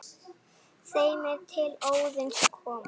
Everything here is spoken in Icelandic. þeim er til Óðins koma